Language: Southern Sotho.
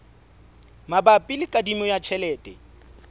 mabapi le kadimo ya tjhelete